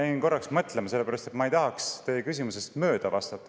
Ma jäin korraks mõtlema, sellepärast et ma ei tahaks teie küsimusest mööda vastata.